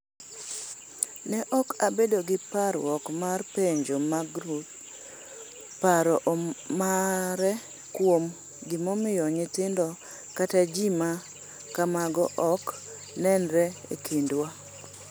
Ne ok abedo gi parruok mar penjo Magreth paro mare kuom gimomiyo nyithindo kata ji ma kamago ok nenre e kindwa?